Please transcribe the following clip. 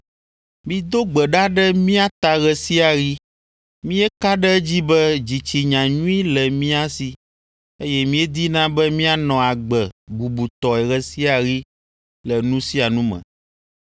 Mido gbe ɖa ɖe mía ta ɣe sia ɣi. Míeka ɖe edzi be dzitsinya nyui le mía si, eye míedina be míanɔ agbe bubutɔe ɣe sia ɣi le nu sia nu me.